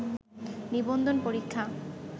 নিবন্ধন পরীক্ষা